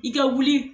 I ka wuli